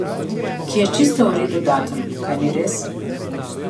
Ki je čisto v redu datum, kaj ni res?